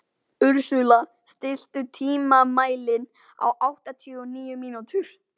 Ursula, stilltu tímamælinn á áttatíu og níu mínútur.